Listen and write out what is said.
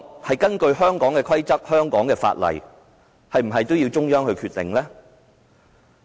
是根據香港的規則和香港的法例，還是也要由中央決定？